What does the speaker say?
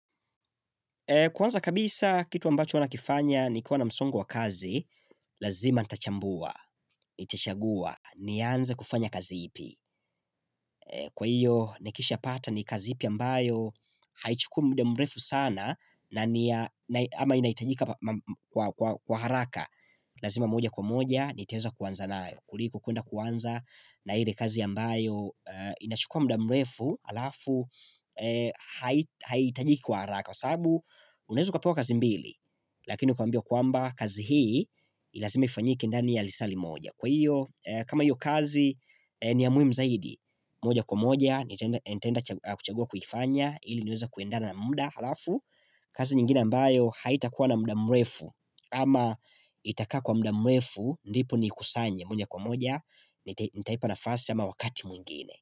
Kwanza kabisa kitu ambacho nakifanya ni kuwa na msongo wa kazi, lazima ntachambua, nitashagua, nianze kufanya kazi ipi. Kwa hiyo, nikisha pata ni kazi ipi ambayo, haichukui mda mrefu sana na ama inaitajika kwa haraka. Lazima moja kwa moja nitaweza kuwanza nao Kuriko kuenda kuwanza na hile kazi ambayo inachukua mda mrefu alafu Haitajiki kwa haraka Kwa sabu unaweza ukapewa kazi mbili Lakini ukambio kuamba kazi hii lazima ifanyike ndani ya lisali moja Kwa hiyo kama hiyo kazi ni ya muimu zaidi moja kwa moja nitaenda kuchagua kuifanya hili niweze kuendana na mda alafu kazi nyingine ambayo haitakuwa na mda mrefu Ama itaka kwa mda mrefu ndipo ni kusanye mwenye kwa moja Nitaipa na fasi ama wakati mwingine.